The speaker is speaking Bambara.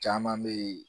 Caman bɛ yen